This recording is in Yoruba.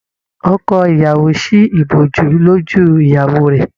Ọkọ ìyàwó sí ìbòjú lójú ìyàwó rẹ.